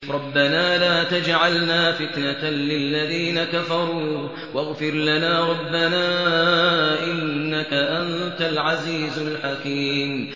رَبَّنَا لَا تَجْعَلْنَا فِتْنَةً لِّلَّذِينَ كَفَرُوا وَاغْفِرْ لَنَا رَبَّنَا ۖ إِنَّكَ أَنتَ الْعَزِيزُ الْحَكِيمُ